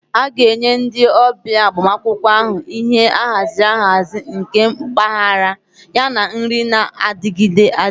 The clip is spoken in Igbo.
A ga-enye ndị ọbịa agbamakwụkwọ ahụ ihe ahaziri ahazi, nke mpaghara, yana nri na-adigide.